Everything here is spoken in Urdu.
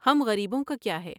ہم غریبوں کا کیا ہے ؟